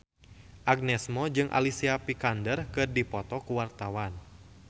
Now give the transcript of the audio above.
Agnes Mo jeung Alicia Vikander keur dipoto ku wartawan